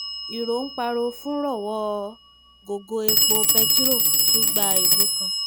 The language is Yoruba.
irọ́ ń parọ́ fúnrọ́ ọ̀wọ́n gógó epo pẹtirọrọ tún gbàlù kan